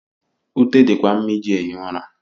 Ute di kwa mma iji ehi ụra.